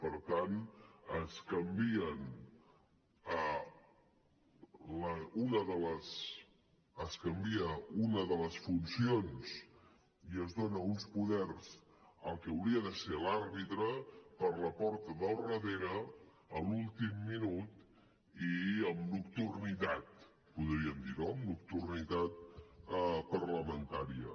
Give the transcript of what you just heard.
per tant es canvia una de les funcions i es dona uns poders al que hauria de ser l’àrbitre per la porta del darrere a l’últim minut i amb nocturnitat podríem dir no amb nocturnitat parlamentària